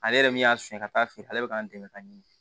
Ale yɛrɛ min y'a fiɲɛ ka taa feere ale bɛ k'an dɛmɛ ka ɲini